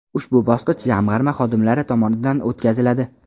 Ushbu bosqich Jamg‘arma xodimlari tomonidan o‘tkaziladi.